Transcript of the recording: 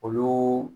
Olu